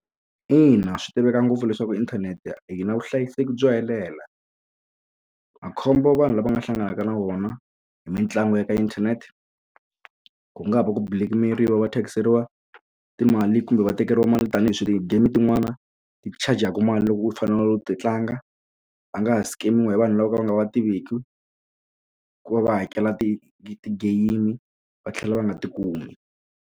Ina swi tiveka ngopfu leswaku inthanete yi na vuhlayiseki byo helela makhombo vanhu lava nga hlanganaka na wona hi mitlangu ya ka inthanete ku nga va ku black-meriwa va tlakuseriwa timali kumbe va tekeriwa mali tanihi game tin'wani ti-chajaku mali loko u fanele u ti tlanga va nga ha skemiwa hi vanhu lavo ka va nga va tiveki ku va va hakela ti game va tlhela va nga ti kumi.